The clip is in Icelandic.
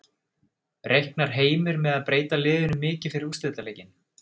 Reiknar Heimir með að breyta liðinu mikið fyrir úrslitaleikinn?